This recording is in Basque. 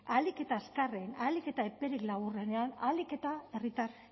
ahalik eta azkarren ahalik eta eperik laburrenean ahalik eta herritar